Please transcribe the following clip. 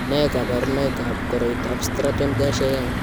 Nee kabarunoikab koroitoab Stratton Garcia Young?